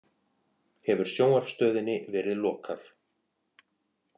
Hefur sjónvarpsstöðinni verið lokað